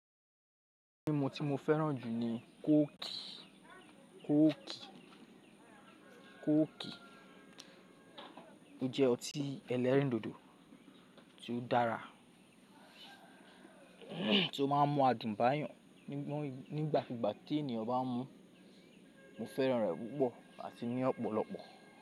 Mímu tí mo fẹ́ràn jù ni kooki. Kooki jẹ́ ọtí ẹlẹ́rìndòdò tí ó dára tí ó má ń mọ adùn báy'an nígbàkigbà tí ènìyàn bá ń mùú, mo fẹ́ràn rẹ̀ púpọ̀ àti ní ọ̀pọ̀lọpọ̀.